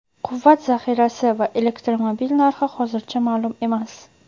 Quvvat zaxirasi va elektromobil narxi hozircha ma’lum emas.